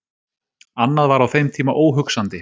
Annað var á þeim tíma óhugsandi.